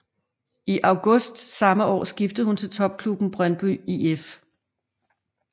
I august samme år skiftede hun til topklubben Brøndby IF